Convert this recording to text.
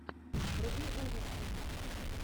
вруби ужасы